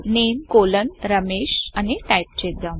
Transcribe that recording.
NAME RAMESHనేమ్ రమేశ్ అని type చేద్దాం